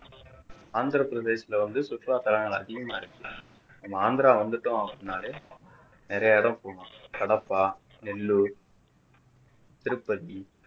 ஆந்திர பிரதேசத்துல வந்து சுற்றுலாத்தளங்கள் அதிகமாக இருக்கு நம்ம ஆந்திரா வந்துட்டோம் அப்படின்னாலே நிறைய இடம் போலாம் கடப்பா நெல்லூர் திருப்பதி